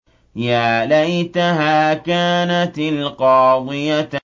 يَا لَيْتَهَا كَانَتِ الْقَاضِيَةَ